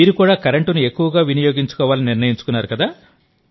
మీరు కూడా కరెంటును ఎక్కువగా వినియోగించుకోవాలని నిర్ణయించుకున్నారు